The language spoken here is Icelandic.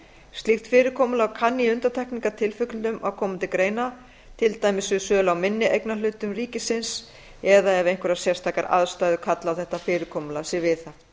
slíkt fyrirkomulag kann í undantekningartilvikum að koma til greina til dæmis við sölu á minni eignarhlutum ríkisins eða ef einhverjar sérstakar aðstæður kalla á að þetta fyrirkomulag sé viðhaft